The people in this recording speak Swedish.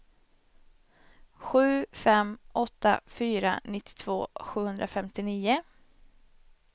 sju fem åtta fyra nittiotvå sjuhundrafemtionio